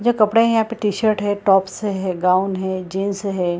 जो कपड़े है यहाँ पे टी-शर्ट है टॉप्स है गाउन है जीन्स है।